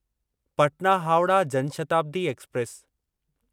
Patna Howrah Jan Shatabdi express